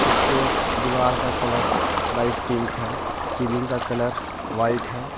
इसके दीवार का कलर लाइट पिंक है सीलिंग का कलर व्हाइट है।